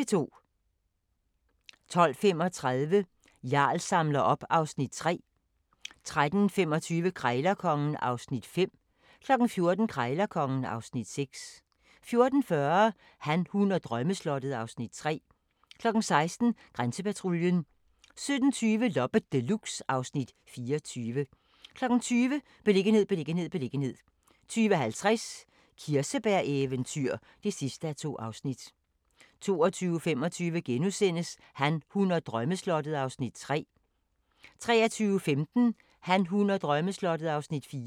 12:35: Jarl samler op (Afs. 3) 13:25: Krejlerkongen (Afs. 5) 14:00: Krejlerkongen (Afs. 6) 14:40: Han, hun og drømmeslottet (Afs. 3) 16:00: Grænsepatruljen 17:20: Loppe Deluxe (Afs. 24) 20:00: Beliggenhed, beliggenhed, beliggenhed 20:50: Kirsebæreventyr (2:2) 22:25: Han, hun og drømmeslottet (Afs. 3)* 23:15: Han, hun og drømmeslottet (Afs. 4)